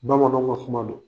Bamananw ka kuma do.